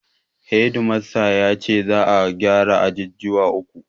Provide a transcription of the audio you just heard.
Hedi mastan ya ce za'a gyara ajujuwa uku.